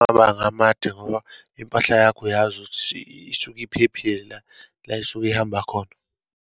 Amabanga amade ngoba impahla yakho uyazi ukuthi isuke iphephile la, la isuke ihamba khona.